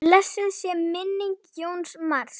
Blessuð sé minning Jóns Mars.